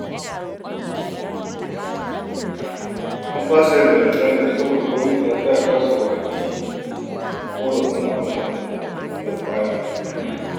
An fasa zanga-zangar saboda gwamnati ta tsaya ta saurari ƙorafin tsadar kaya